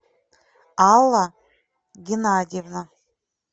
алла геннадьевна